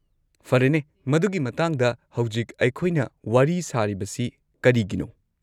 -ꯐꯔꯦꯅꯦ, ꯃꯗꯨꯒꯤ ꯃꯇꯥꯡꯗ ꯍꯧꯖꯤꯛ ꯑꯩꯈꯣꯏꯅ ꯋꯥꯔꯤ ꯁꯥꯔꯤꯕꯁꯤ ꯀꯔꯤꯒꯤꯅꯣ?